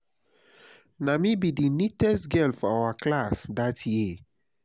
na me be the neatest girl for my class dat year